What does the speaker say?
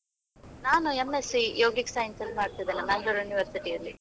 ನಾನು ಈಗ M.sc, yogik science ಅಲ್ಲಿ ಮಾಡ್ತಾ ಇದ್ದೇನೆ, Mangalore University ಅಲ್ಲಿ.